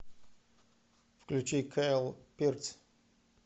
включить кайл пирс